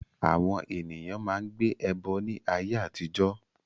Àwọn èèyàn máa n gbé ẹbọ ní ayé àtijọ́